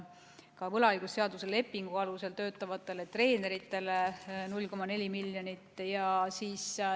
Ka võlaõigusliku lepingu alusel töötavatele treeneritele on ette nähtud 0,4 miljonit eurot.